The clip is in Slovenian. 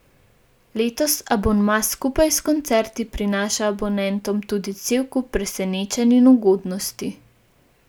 Letos abonma skupaj s koncerti prinaša abonentom tudi cel kup presenečenj in ugodnosti.